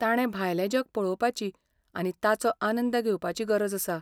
ताणें भायलें जग पळोवपाची आनी ताचो आनंद घेवपाची गरज आसा.